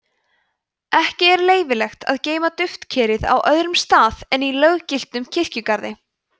ekki er leyfilegt að geyma duftkerið á öðrum stað en í löggiltum kirkjugarði